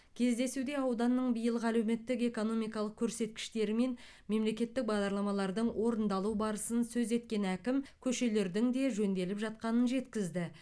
кездесуда ауданның биылғы әлеуметтік экономикалық көрсеткіштері мен мемлекеттік бағдарламалардың орындалу барысын сөз еткен әкім көшелердің де жөнделіп жатқанын жеткізді